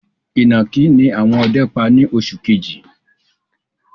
Ìnàkì ni àwọn ọdẹ pa ni oṣù kejì